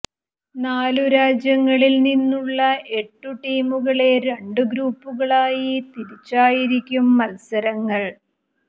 നാലു രാജ്യങ്ങളിൽ നിന്നുള്ള എട്ടു ടീമുകളെ രണ്ടു ഗ്രൂപ്പുകളായി തിരിച്ചായിരിക്കും മത്സരങ്ങൾ